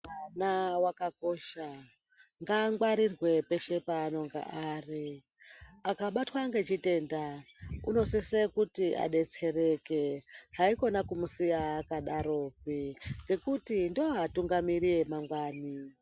Mwana akakosha ngamgwarirwe peshe panogara akabatwa nechitenda anosisa kuti adetsereke haikona kumusiya akadaro ngekuti ndiwo atungamiriri amangwani.